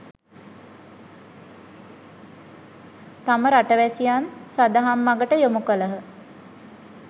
තම රටවැසියන් සදහම් මගට යොමු කළහ.